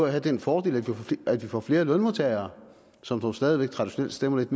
have den fordel at vi får flere lønmodtagere som dog stadig væk traditionelt stemmer lidt